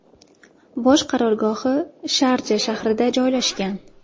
Bosh qarorgohi Sharja shahrida joylashgan.